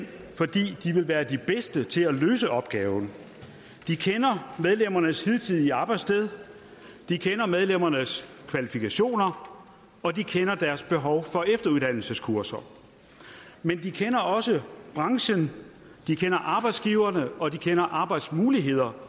det være de bedste til at løse opgaven de kender medlemmernes hidtidige arbejdssted de kender medlemmernes kvalifikationer og de kender deres behov for efteruddannelseskurser men de kender også branchen de kender arbejdsgiverne og de kender arbejdsmulighederne